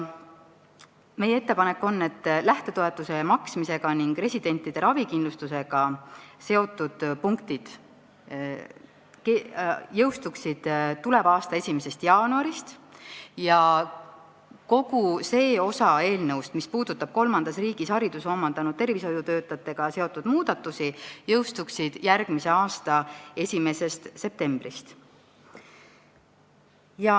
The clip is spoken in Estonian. Meie ettepanek on, et lähtetoetuse maksmisega ning residentide ravikindlustusega seotud punktid jõustuksid tuleva aasta 1. jaanuarist ja kogu see osa eelnõust, mis puudutab kolmandas riigis hariduse omandanud tervishoiutöötajatega seotud muudatusi, jõustuks järgmise aasta 1. septembrist.